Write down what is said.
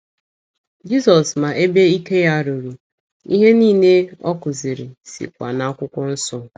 Jizọs ma ebe ike ya ruru, ihe niile ọ kụziri sikwa n’Akwụkwọ Nsọ.